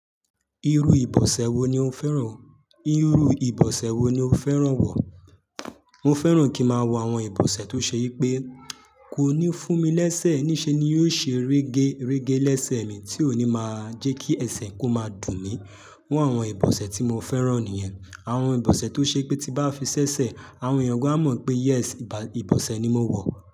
Irú ìbọsẹ̀ wo ni o fẹ́ràn? Irú ìbọsẹ̀ wo ni o fẹ́ràn wọ̀? Mo fẹ́ràn kí ma wọ àwọn ìbọsẹ̀ tó se i pé kò ní fún mi lẹ́sẹ̀, ni se ni yóò ṣe rẹ́gẹ́ rẹ́gẹ́ lẹ́sẹ̀ mi, tí ó ní má jẹ́ kí ẹsẹ̀ kó má dùn mí. Àwọn ìbọsẹ̀ tí mo fẹ́ràn nìyẹn. Àwọn ìbọsẹ̀ tó se pé tí ba fi ṣẹ̀ṣẹ̀, àwọn ènìyàn gan á mọ̀ pé yes ìbọsẹ̀ ni mo wọ̀.